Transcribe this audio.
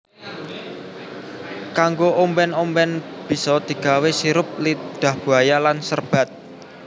Kanggo omben omben bisa digawe sirup lidah buaya lan serbat